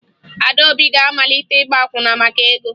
Adaobi ga-amalite ịgba akwụna maka ego